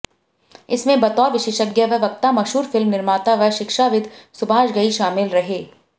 इसमें बतौर विशेषज्ञ व वक्ता मशहूर फिल्म निर्माता व शिक्षाविद सुभाष घई शामिल रहे